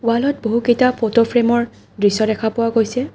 ৱালত বহু কেইটা ফটো ফ্ৰেমৰ দৃশ্য দেখা পোৱা গৈছে।